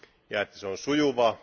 ja että se on sujuvaa.